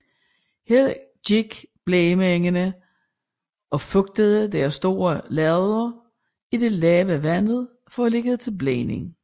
Her gik blegemændene og fugtede deres store lærreder i det lave vand for at lægge til blegning